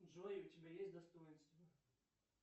джой у тебя есть достоинства